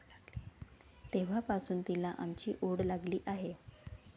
तेव्हापासुन तिला आमची ओढ लागली आहे.